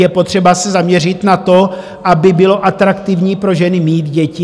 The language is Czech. Je potřeba se zaměřit na to, aby bylo atraktivní pro ženy mít děti.